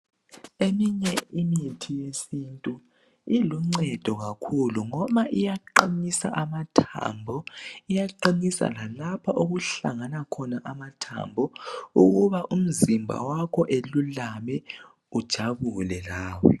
Eminye imithi yesintu iluncedo kakhulu ngoba iyaqinisa amathambo , iyaqinisa lalapho okuhlangana khona amathambo ukuba umzimba wakho ululame ujabule lawe.